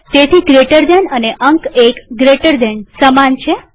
તેથી gtજમણા ખૂણાવાળો કૌંસ અને અંક૧gtએક જમણા ખૂણાવાળો કૌંસ સમાન છે